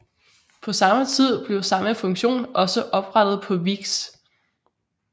På samme tid blev samme funktion også oprettet på Vix